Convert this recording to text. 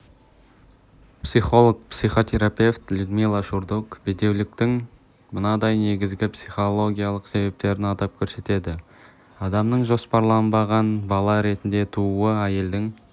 психолог-психотерапевт людмила шурдук бедеуліктің мынадай негізгі психологиялық себептерін атап көрсетеді адамның жоспарланбаған бала ретінде тууы әйелдің